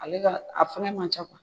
Ale ka, a fɛnkɛ man ca